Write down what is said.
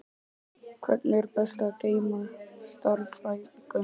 Hvernig er best að geyma stafræn gögn?